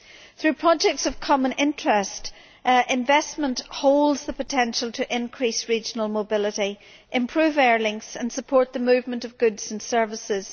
Through projects of common interest, investment holds the potential to increase regional mobility, improve air links and support the movement of goods and services.